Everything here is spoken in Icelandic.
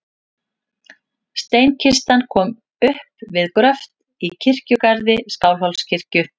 Steinkistan kom upp við gröft í kirkjugarði Skálholtskirkju.